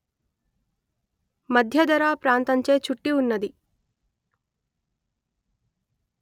మధ్యధరా ప్రాంతంచే చుట్టి వున్నది